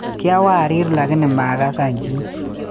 Kiawariir lakini makasa chii